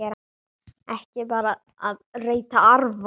Ekki bara að reyta arfa!